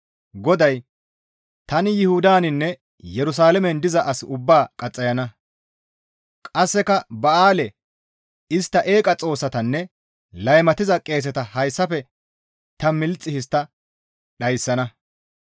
GODAY, «Tani Yuhudaninne Yerusalaamen diza as ubbaa qaxxayana; qasseka Ba7aale, istta eeqa xoossatanne laymatiza qeeseta hayssafe ta milxi histta dhayssana.